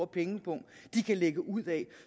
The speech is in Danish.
pengepung de kan lægge ud af